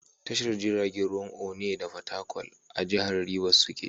Tashar jiragen ruwan Onne da Fatakwal a jihar Ribas suke.